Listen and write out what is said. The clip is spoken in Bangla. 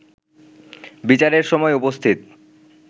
বিচারের সময় উপস্থিত